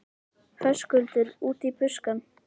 Höskuldur: Út í buskann?